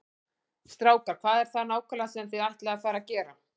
Strákar, hvað er það nákvæmlega sem þið ætlið að fara að gera?